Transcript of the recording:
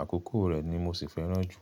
Àkókò rẹ̀ ni mo sì fẹ́ràn jù.